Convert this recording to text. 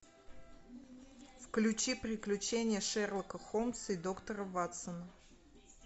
включи приключения шерлока холмса и доктора ватсона